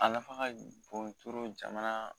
A nafa ka bon jamana